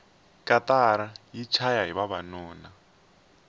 katara yi chayahi vavanuna